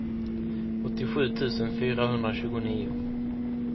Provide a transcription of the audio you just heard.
åttiosju tusen fyrahundratjugonio